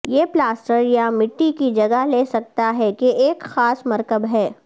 یہ پلاسٹر یا مٹی کی جگہ لے سکتا ہے کہ ایک خاص مرکب ہے